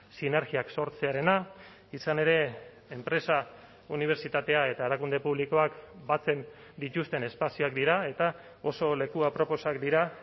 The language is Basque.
sinergiak sortzearena izan ere enpresa unibertsitatea eta erakunde publikoak batzen dituzten espazioak dira eta oso leku aproposak dira